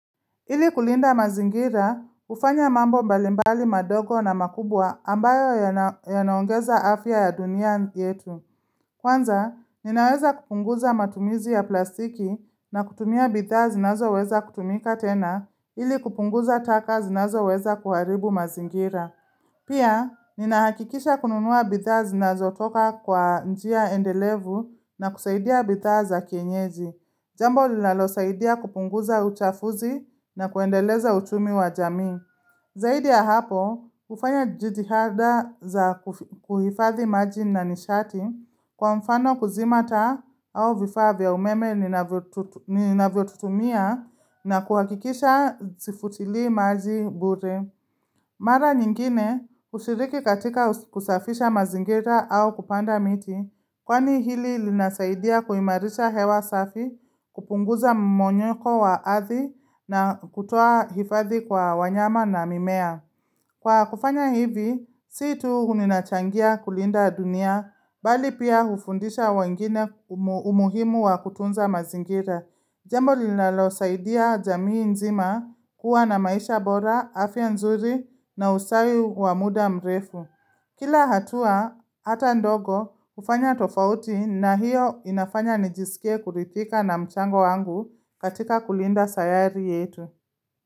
Ili kulinda mazingira, ufanya mambo mbalimbali madogo na makubwa ambayo yanaongeza afya ya dunia yetu. Kwanza, ninaweza kupunguza matumizi ya plastiki na kutumia bidhaa zinazo weza kutumika tena ili kupunguza taka zinazo weza kuharibu mazingira. Pia, ninahakikisha kununua bidhaa zinazo toka kwa njia endelevu na kusaidia bidhaa za kienyeji. Jambo lila losaidia kupunguza uchafuzi na kuendeleza uchumi wa jamii. Zaidi ya hapo, ufanya jitihada za kuhifathi maji na nishati kwa mfano kuzima taa au vifaa vya umeme ni naviotutumia na kuhakikisha zifutili maji buri. Mara nyingine ushiriki katika kusafisha mazingira au kupanda miti, kwani hili linasaidia kuimarisha hewa safi kupunguza mmonyoko wa ardhi na kutoa hifadhi kwa wanyama na mimea. Kwa kufanya hivi, siitu huninachangia kulinda dunia, bali pia ufundisha wengine umuhimu wa kutunza mazingira. Jambo linalo saidia jamii nzima kuwa na maisha bora, afya nzuri na ustawi wa muda mrefu. Kila hatua, ata ndogo ufanya tofauti na hiyo inafanya nijisike kurithika na mchango wangu katika kulinda sayari yetu.